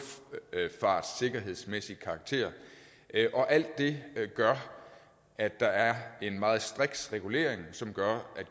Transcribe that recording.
luftfartsikkerhedsmæssig karakter og alt det gør at der er en meget striks regulering som gør at